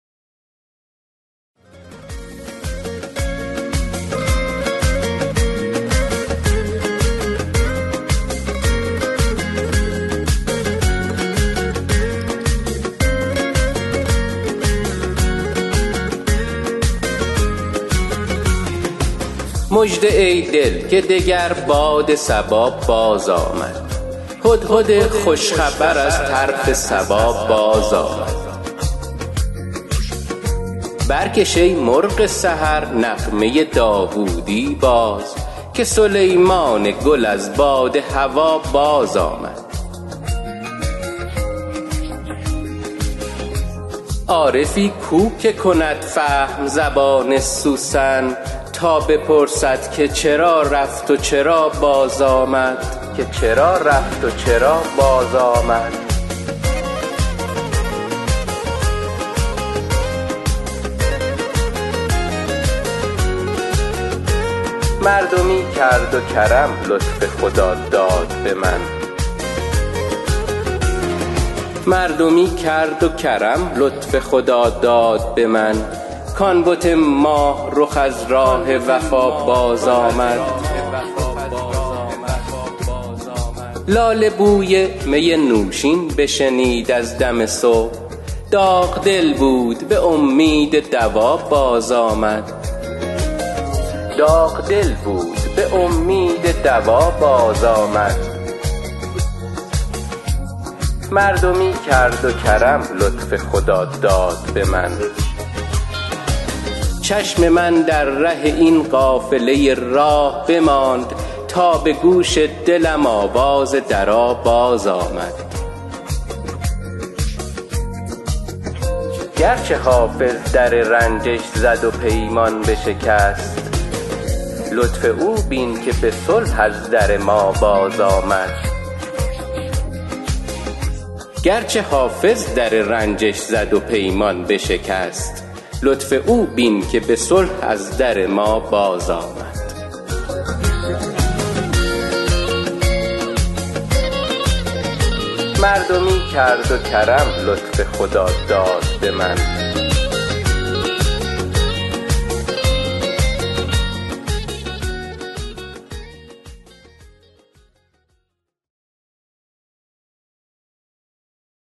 مژده ای دل که دگر باد صبا بازآمد هدهد خوش خبر از طرف سبا بازآمد برکش ای مرغ سحر نغمه داوودی باز که سلیمان گل از باد هوا بازآمد عارفی کو که کند فهم زبان سوسن تا بپرسد که چرا رفت و چرا بازآمد مردمی کرد و کرم لطف خداداد به من کـ آن بت ماه رخ از راه وفا بازآمد لاله بوی می نوشین بشنید از دم صبح داغ دل بود به امید دوا بازآمد چشم من در ره این قافله راه بماند تا به گوش دلم آواز درا بازآمد گرچه حافظ در رنجش زد و پیمان بشکست لطف او بین که به لطف از در ما بازآمد